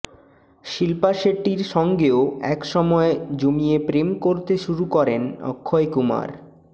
শিল্পা শেঠির সঙ্গেও এক সময় জমিয়ে প্রেম করতে শুরু করেন অক্ষয় কুমার